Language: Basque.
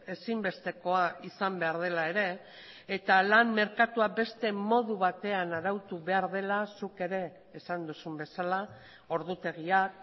ezinbestekoa izan behar dela ere eta lan merkatua beste modu batean arautu behar dela zuk ere esan duzun bezala ordutegiak